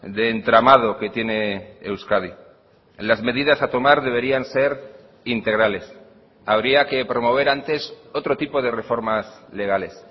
de entramado que tiene euskadi las medidas a tomar deberían ser integrales habría que promover antes otro tipo de reformas legales